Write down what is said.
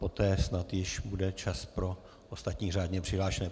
Poté snad již bude čas pro ostatní řádně přihlášené.